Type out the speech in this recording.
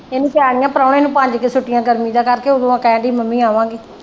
ਇਹਨੂੰ ਚਾਰ ਜਾਂ ਪ੍ਰਾਹੁਣੇ ਨੂੰ ਪੰਜ ਕੁ ਛੁੱਟੀਆਂ ਗਰਮੀ ਦੀਆਂ ਕਰਕੇ ਉਦੋਂ ਕਹਿਣ ਡਈ ਮੰਮੀ ਆਵਾਂਗੇ।